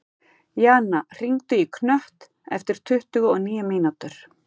Jana, hringdu í Knött eftir tuttugu og níu mínútur.